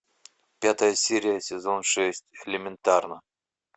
пятая серия сезон шесть элементарно